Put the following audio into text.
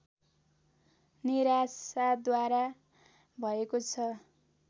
निराशाद्वारा भएको छ